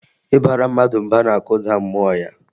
Ịbara mmadụ mba na-akụda mmụọ ya